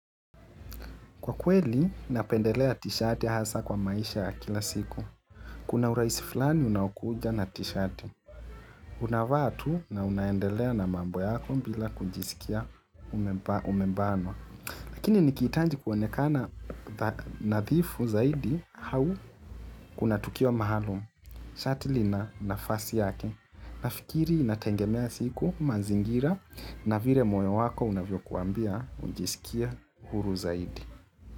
Kwa kweli, napendelea t-shati hasa kwa maisha ya kila siku. Kuna urahisi fulani unaokuja na t-shati. Unavaa tu naunaendelea na mambo yako bila kujisikia umebanwa. Lakini niki hitaji kuonekana nadhifu zaidi au kuna tukio maalum. Shati li na nafasi yake. Nafikiri inategemea siku mazingira na vile moyo wako unavyo kuambia ujisikie huru zaidi.